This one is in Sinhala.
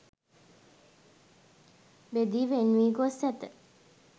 බෙදී වෙන් වී ගොස් ඇත.